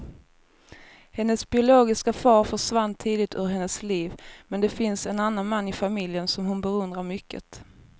Hennes biologiska far försvann tidigt ur hennes liv, men det finns en annan man i familjen som hon beundrar mycket.